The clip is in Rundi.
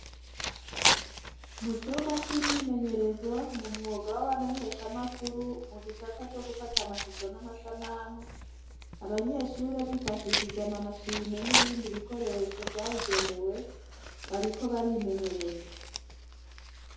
Mu cumba c'imyimenyerezo mu mwuga w'abamenyeshamakuru mu gisata co gufata amashusho n'amasanamu abanyeshure bifashishije amamashine n'ibindi bikoresho vyabigenewe bariko barimenyereza.